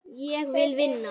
Ég vil vinna.